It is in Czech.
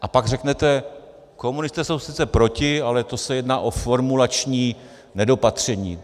A pak řeknete: komunisté jsou sice proti, ale to se jedná o formulační nedopatření.